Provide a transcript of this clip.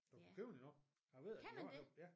Du kan købe den endnu jeg ved at de har den ja